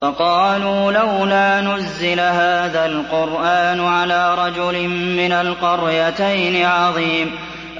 وَقَالُوا لَوْلَا نُزِّلَ هَٰذَا الْقُرْآنُ عَلَىٰ رَجُلٍ مِّنَ الْقَرْيَتَيْنِ عَظِيمٍ